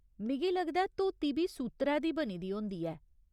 मिगी लगदा ऐ, धोती बी सूत्तरै दी बनी दी होंदी ऐ।